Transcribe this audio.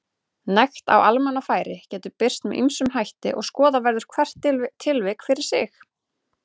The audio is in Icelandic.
Nekt á almannafæri getur birst með ýmsum hætti og skoða verður hvert tilvik fyrir sig.